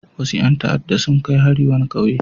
Wasu ƴan ta'adda sun kai hari wani ƙauye.